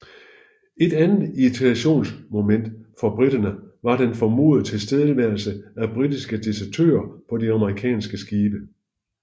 Et andet irritationsmoment for briterne var den formodede tilstedeværelse af britiske desertører på de amerikanske skibe